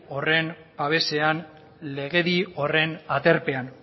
horren babesean legedi horren aterpean